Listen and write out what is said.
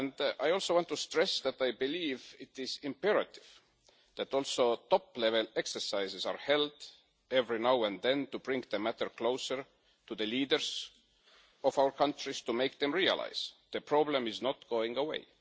I want to stress that I believe it is imperative that top-level exercises are also held every now and then to bring the matter closer to the leaders of our countries to make them realise the problem is not going away.